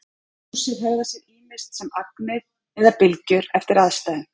Ljósið hegðar sér ýmist sem agnir eða bylgjur eftir aðstæðum.